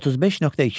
35.2.